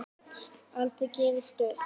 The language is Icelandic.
Aldrei gefist upp.